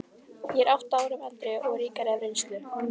Ég er átta árum eldri og ríkari af reynslu.